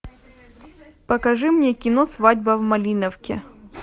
покажи мне кино свадьба в малиновке